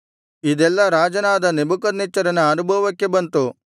ಇದೆಲ್ಲಾ ರಾಜನಾದ ನೆಬೂಕದ್ನೆಚ್ಚರನ ಅನುಭವಕ್ಕೆ ಬಂತು